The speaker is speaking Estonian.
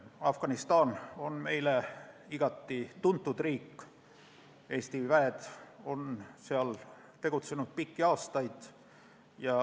Afganistan on meile igati tuntud riik, Eesti väed on seal tegutsenud pikki aastaid.